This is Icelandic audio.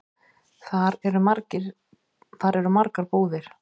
Þar eru margar búðir.